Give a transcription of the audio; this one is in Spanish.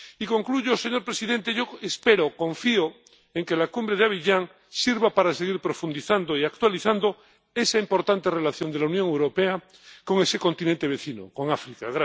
Y concluyo, señor presidente yo espero, confío en que la Cumbre de Abiyán sirva para seguir profundizando y actualizando esa importante relación de la Unión Europea con ese continente vecino, con África.